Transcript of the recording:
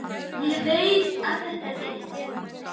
Ég veit að þetta er rétt.